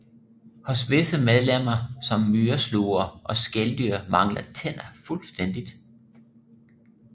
Hos visse medlemmer som myreslugere og skældyr mangler tænder fuldstændigt